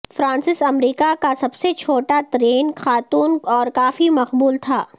Francis امریکہ کا سب سے چھوٹا ترین خاتون اور کافی مقبول تھا